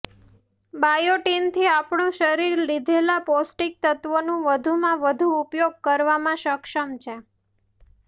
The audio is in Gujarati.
બાયોટીનથી આપણું શરીર લીધેલા પોષ્ટિક તત્વોનો વધુમાં વધુ ઉપયોગ કરવામાં સક્ષમ હોય છે